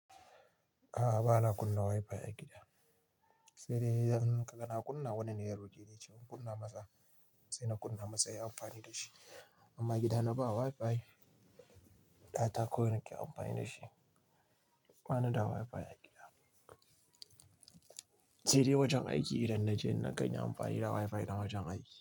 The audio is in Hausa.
A'a, ba na kunna WiFi a gida. Sai dai idan kaga na kunna wannan yaro gare ni cewa kunna masa, sai na kunna masa ya amfani da shi. Amma gida na ba WiFi, data kawai nake amfani da shi. Banida WiFi a gida. Sai dai wajen aiki idan na je na gani amfani da WiFi na wajen aiki.